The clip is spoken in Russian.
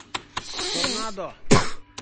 торнадо